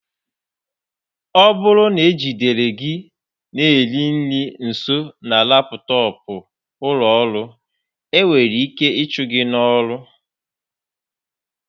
Ọ bụrụ na e jidere gị na-eri nri nso na laptọọpụ ụlọ ọrụ, ị nwere ike ịchụ gị n'ọrụ